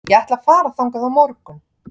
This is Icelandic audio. Ég ætla að fara þangað á morgun.